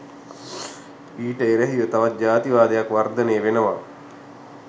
ඊට එරෙහිව තවත් ජාතිවාදයක් වර්ධනය වෙනවා